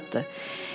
O azaddır.